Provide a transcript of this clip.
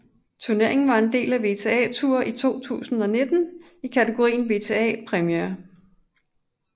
Turneringen var en del af WTA Tour 2019 i kategorien WTA Premier